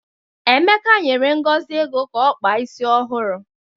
Emeka nyere Ngozi ego ka ọ kpaa isi ọhụrụ.